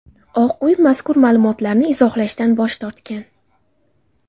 Oq uy mazkur ma’lumotlarni izohlashdan bosh tortgan.